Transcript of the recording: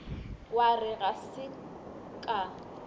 wa re ga se ka